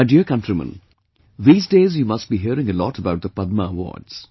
My dear countrymen, these days you must be hearing a lot about the Padma Awards